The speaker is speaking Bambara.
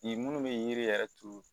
Ni munnu bɛ yiri yɛrɛ turu